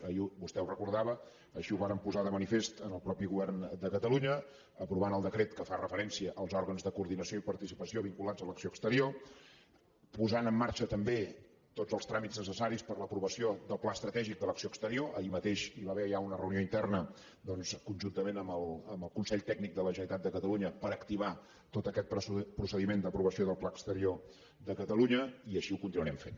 ahir vostè ho recordava així ho vàrem posar de manifest en el mateix govern de catalunya aprovant el decret que fa referència als òrgans de coordinació i participació vinculats a l’acció exterior posant en marxa també tots els tràmits necessaris per a l’aprovació del pla estratègic de l’acció exterior ahir mateix hi va haver ja una reunió interna conjuntament amb el consell tècnic de la generalitat de catalunya per activar tot aquest procediment d’aprovació del pla exterior de catalunya i així ho continuarem fent